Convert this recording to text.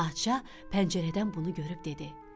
Padşah pəncərədən bunu görüb dedi: